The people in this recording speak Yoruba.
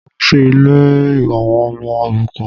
Mọ lọ sí ilé àwọn ọmọ òrukàn